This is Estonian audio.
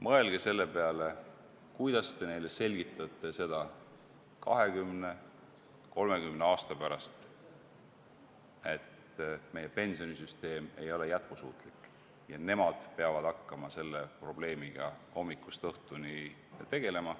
Mõelge selle peale, kuidas te selgitate neile 20–30 aasta pärast, miks meie pensionisüsteem ei ole jätkusuutlik ja miks nemad peavad selle probleemiga hommikust õhtuni tegelema.